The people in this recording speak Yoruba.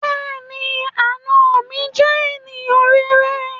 Bẹ́ẹ̀ni, àna mi jẹ́ ènìyàn rere